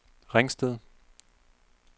Ringsted